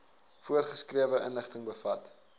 voorgeskrewe inligting bevat